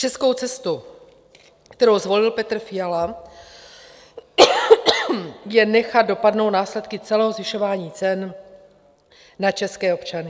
Českou cestu, kterou zvolil Petr Fiala, je nechat dopadnout následky celého zvyšování cen na české občany.